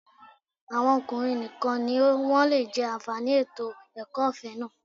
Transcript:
Àwọn ọkùnrin nìkan ni wọ́n lè jẹ́ àǹfààní ètò ẹ̀kọ́ ọ̀fẹ́ náà